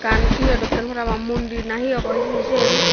ekkan ye dokke parapang mondhir na he obo hijeni sian.